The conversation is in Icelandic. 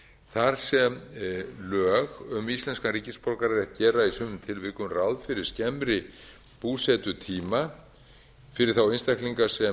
þar sem lög um íslenskan ríkisborgararétt ár í sumum tilvikum ráð fyrir skemmri búsetutíma fyrir þá einstaklinga sem